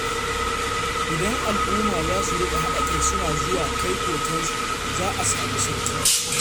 Idan al'umma za su riƙa haɗa kai suna zuwa kai kokensu, za a sami sauƙi.